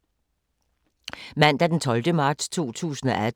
Mandag d. 12. marts 2018